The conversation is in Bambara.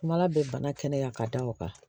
Kuma ala bɛ bana kɛnɛya ka da o kan